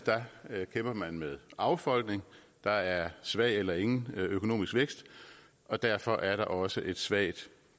landet kæmper man med affolkning der er en svag eller ingen økonomisk vækst og derfor er der også et svagt